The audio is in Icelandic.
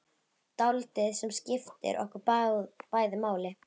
Dáldið sem skiptir okkur bæði máli.